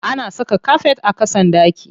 Ana saka kafet a ƙasan ɗaki.